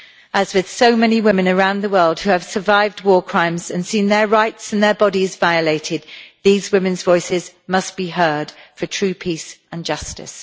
As with so many women around the world who have survived war crimes and seen their rights and their bodies violated, these women's voices must be heard for true peace and justice.